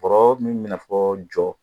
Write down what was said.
Bɔrɔ min bɛ i n'a fɔ jɔ